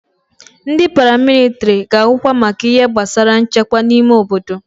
Ndị paramilitiri ga-ahụkwa maka ihe gbasara nchekwa n'ime obodo.